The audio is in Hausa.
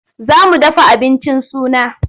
Za mu dafa abincin suna.